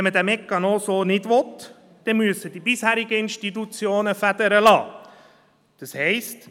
Wenn man diesen Mechanismus so nicht will, dann müssen die bisherigen Institutionen Federn lassen.